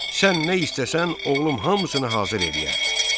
Sən nə istəsən, oğlum hamısını hazır eləyər.